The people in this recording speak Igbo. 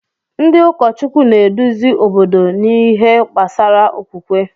Ndị ụkọchukwu na-eduzi obodo n’ihe gbasara okwukwe.